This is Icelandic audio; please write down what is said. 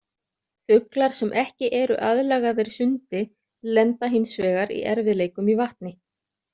Fuglar sem ekki eru aðlagaðir sundi lenda hins vegar í erfiðleikum í vatni.